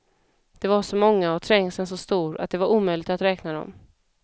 De var så många och trängseln så stor, att det var omöjligt att räkna dem.